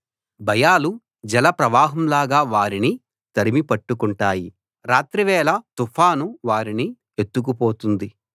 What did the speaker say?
భయాలు జలప్రవాహంలాగా వారిని తరిమి పట్టుకుంటాయి రాత్రివేళ తుఫాను వారిని ఎత్తుకుపోతుంది